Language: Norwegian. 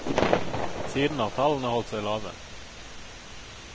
Siden har tallene holdt seg lave.